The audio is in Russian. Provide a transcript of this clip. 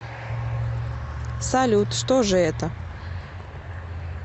салют что же это